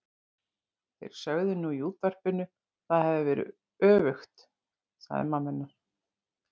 Þeir sögðu nú í útvarpinu að það hefði verið öfugt sagði mamma hennar.